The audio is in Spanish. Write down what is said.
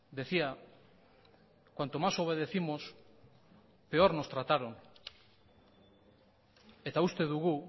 decía cuanto más obedécimos peor nos trataron eta uste dugu